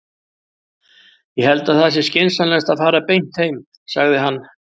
Ég held að það sé skynsamlegast að fara beint heim, sagði hann.